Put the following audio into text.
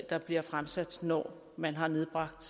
der bliver fremsat når man har nedbragt